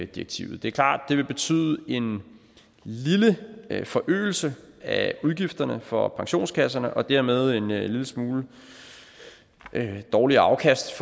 direktivet det er klart at det vil betyde en lille forøgelse af udgifterne for pensionskasserne og dermed en lille smule dårligere afkast